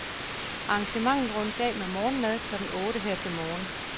Arrangementet rundes af med morgenmad klokken otte her til morgen.